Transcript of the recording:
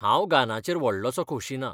हांव गानाचेर व्हडलोसो खोशी ना .